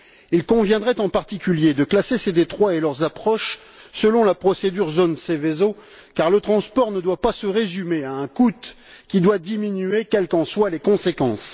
Il conviendrait en particulier de classer ces détroits et leurs approches selon la procédure relative aux zones Seveso, car le transport ne doit pas se résumer à un coût qui doit diminuer quelles qu'en soient les conséquences.